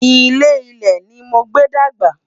ilé ilé ní mogbe dàgbà